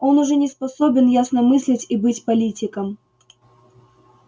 он уже не способен ясно мыслить и быть политиком